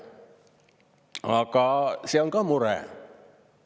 Aga see on ka mure.